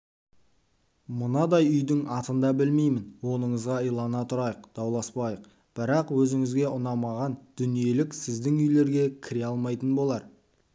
мынадай үйдің атында білмеймін оныңызға илана тұрайық дауласпайық бірақ өзіңізге ұнамаған дүниелік сіздің үйлерге кіре алмайтын болар